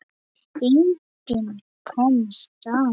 Enginn komst af.